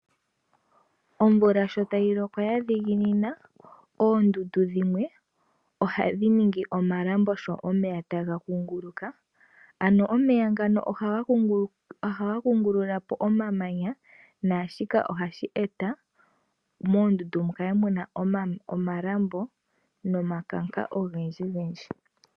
Omvula sho ta yi loko ya dhiginina, oondundu dhimwe ohadhi ningi omalambo sho omeya ta ga kunguluka. Ano omeya ngano ohaga kungulula po omamanya, naashino ohashi e ta moondundu mu kale mu na omalambo nomakanka ogendji gendji.